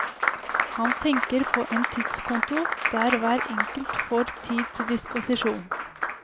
Han tenker på en tidskonto der hver enkelt får tid til disposisjon.